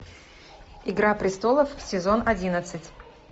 игра престолов сезон одиннадцать